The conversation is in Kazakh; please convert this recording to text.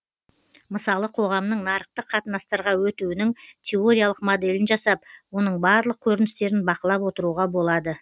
мысалы қоғамның нарықтық қатынастарға өтуінің теориялық моделін жасап оның барлық көріністерін бақылап отыруға болады